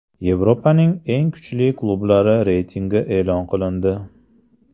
Yevropaning eng kuchli klublari reytingi e’lon qilindi.